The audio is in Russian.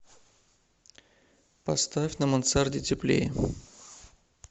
поставь на мансарде теплее